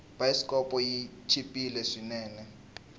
bayisikopo yi chipile swinene